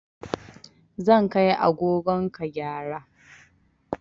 Zan kai agogon ka gyara